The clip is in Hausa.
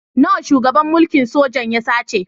Nawa shugaban mulkin sojan ya sace?